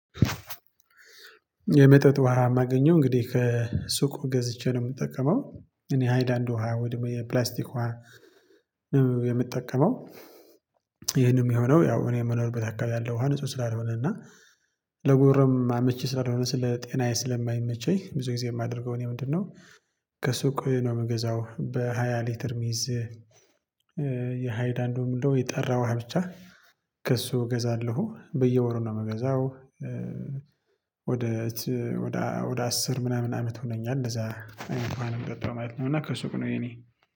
የመጠጥ ውሃ የማገኘው እንግዲህ ከሱቅ ገዝቼ ነው የምጠቀመው። እኔ ሃይላንድ ውሃ ወደ የፕላስቲክ ውሃ የምጠቀመው። ይሄንን የሚሆነው ያው እኔ የምኖርበት አካባቢ ያለው ውሃ ንጹ ስላልሆነና ለጎሮሮም አመቺ ስላልሆን ስለ ጤናዬ ስለማይመቸኝ ብዙ ጊዜ የማደርገው እኔ ምንድነው? ከሱቅ ነው የምገዛው በሃያ ሊትር ሚዝ። የሃይላድ አንዱ ደግሞ ምንድነው የጠራ ውሃ ብቻ። ከእሱ እገዛለሁ በየወር ነው የምገዛው። ወደ ወደ አስር ምናምን አመት ሆነኛል እንደዛ አይነት ውሃ አይነት የምጠጣው ማለት ነው። እና ከሱቅ ነው የኔ